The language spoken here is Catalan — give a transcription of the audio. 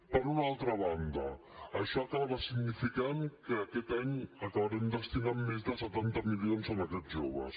per una altra banda això acabarà significant que aquest any acabarem destinant més de setanta milions en aquests joves